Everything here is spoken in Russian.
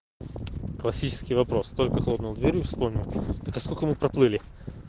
классический вопрос только хлопнул дверью вспомнил так а сколько мы проплыли